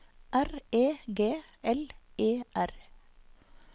R E G L E R